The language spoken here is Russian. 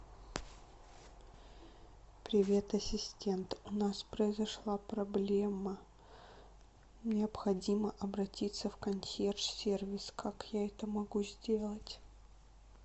привет ассистент у нас произошла проблема необходимо обратиться в консьерж сервис как я это могу сделать